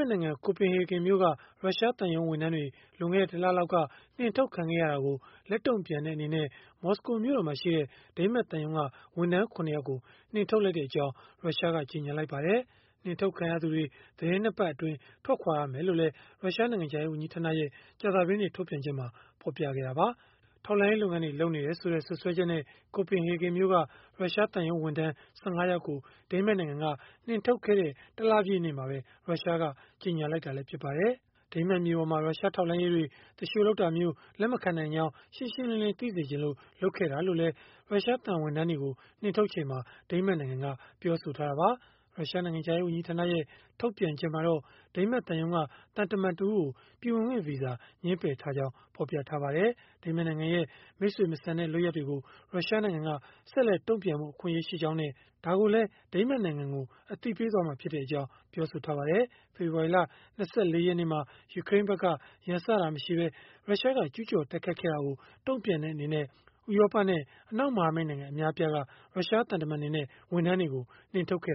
တ်နိုင်ငံ ကိုပင်ဟေဂင်မြို့က ရုရှားသံရုံး ဝန်ထမ်းတွေ လွန်ခဲ့တဲ့ ၁ လလောက်က နှင်ထုတ်ခံခဲ့ရတာကို လက်တုံ့ပြန်တဲ့ အနေနဲ့ မော်စကိုမြို့တော်မှာရှိတဲ့ ဒိန်းမတ်သံရုံးက ဝန်ထမ်း ၇ ယောက်ကို နှင်ထုတ်လိုက်ကြောင်း ရုရှားက ကြေညာလိုက်ပါတယ်။ နှင်ထုတ်ခံရသူတွေ သီတင်း ၂ ပတ်အတွင်း ထွက်ခွာရမှာ ဖြစ်ကြောင်းလည်း ရုရှားနိုင်ငံခြားရေး ဝန်ကြီးဌာနရဲ့ ကြာသပတေးနေ့ ထုတ်ပြန်ချက်မှာ ဖော်ပြခဲ့တာပါ။ ထောက်လှမ်းရေး လုပ်ငန်းတွေ လုပ်နေတယ်ဆိုတဲ့ စွပ်စွဲချက်နဲ့ ကိုပင်ဟေဂင်မြို့က ရုရှားသံရုံးဝန်ထမ်း ၁၅ ယောက်ကို ဒိန်းမတ်နိုင်ငံက နှင်ထုတ်ခဲ့တဲ့ ၁ လပြည့်နေ့မှာပဲ ရုရှားက ကြေညာလိုက်တာလည်း ဖြစ်ပါတယ်။ ဒိန်းမတ်မြေပေါ်မှာ ရုရှားထောက်လှမ်းရေးတွေ သူလျှိုလုပ်တာ လက်မခံနိုင်ကြောင်း ရှင်းရှင်းလင်းလင်း သိစေချင်လို့ လုပ်ခဲ့တာလို့လည်း ရုရှားသံဝန်ထမ်းတွေကို နှင်ထုတ်ချိန်မှာ ဒိန်းမတ်နိုင်ငံက ပြောဆိုထားတာပါ။ ရုရှားနိုင်ငံခြားရေး ဝန်ကြီးဌာနရဲ့ ထုတ်ပြန်ချက်မှာတော့ ဒိန်းမတ်သံရုံးက သံတမန်တဦးကို ပြည်ဝင်ခွင့်ဗီဇာ ငြင်းပယ်ထားကြောင်း ဖော်ပြထားပါတယ်။ ဒိန်းမတ်နိုင်ငံရဲ့ မိတ်ဆွေမဆန်တဲ့ လုပ်ရပ်တွေကို ရုရှားနိုင်ငံက ဆက်လက် တုံ့ပြန်ဖို့ အခွင့်အရေးရှိကြောင်းနဲ့ ဒါကိုလည်း ဒိန်းမတ်နိုင်ငံကို အသိပေးသွားမှာ ဖြစ်ကြောင်းလည်း ပြောပါတယ်။ ဖေဖော်ဝါရီလ ၂၄ ရက်နေ့မှာ ယူကရိန်းဖက်က ရန်စတာမရှိဘဲ ရုရှားက ကျုးကျော်တိုက်ခိုက်ခဲ့တာကို တုံ့ပြန်တဲ့ အနေနဲ့ ဥရောပနဲ့ အနောက်မဟာမိတ်နိုင်ငံ အများအပြားက ရုရှားသံတမန်တွေနဲ့ ဝန်ထမ်းတွေကို နှင်ထုတ်ခဲ့